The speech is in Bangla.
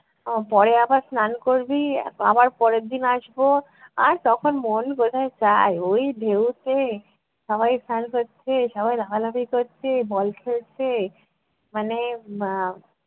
আহ পরে আবার স্নান করবি, আবার পরের দিন আসবো, আর তখন মন কোথায় চায় ওই ঢেউতে সবাই স্নান করছে সবাই লাফালাফি করছে বল খেলছে মানে আহ